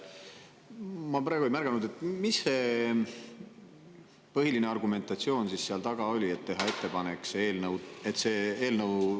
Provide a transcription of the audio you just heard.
Ma praegu ei märganud, mis see põhiline argumentatsioon seal taga oli, et tehti ettepanek see eelnõu.